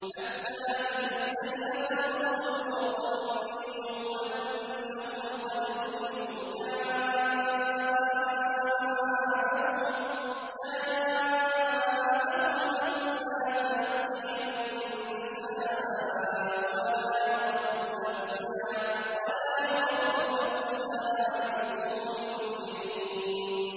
حَتَّىٰ إِذَا اسْتَيْأَسَ الرُّسُلُ وَظَنُّوا أَنَّهُمْ قَدْ كُذِبُوا جَاءَهُمْ نَصْرُنَا فَنُجِّيَ مَن نَّشَاءُ ۖ وَلَا يُرَدُّ بَأْسُنَا عَنِ الْقَوْمِ الْمُجْرِمِينَ